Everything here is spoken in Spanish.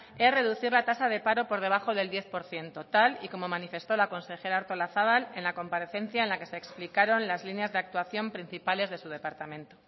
es reducir la tasa de paro por debajo del diez por ciento tal y como manifestó la consejera artolazabal en la comparecencia en la que se explicaron las líneas de actuación principales de su departamento